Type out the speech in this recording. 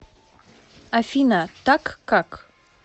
афина так как